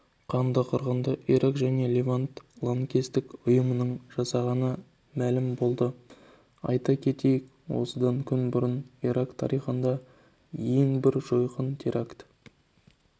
қанды қырғынды ирак және левант лаңкестік ұйымының жасағаны мәлім болды айта кетейік осыдан күн бұрын ирак тарихындағы ең бір жойқын теракт